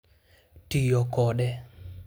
Tiyo kode